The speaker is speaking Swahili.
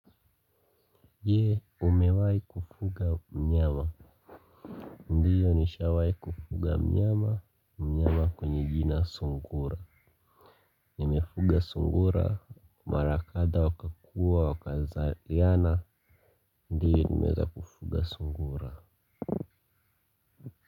Je, umewai kufuga mnyama, ndiyo nishawai kufuga mnyama, mnyama kwenye jina sungura. Nimefuga sungura, mara kadha wakakua, wakazaliana, ndiyo nimeza kufuga sungura.